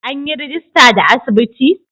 An yi rajista da asibiti?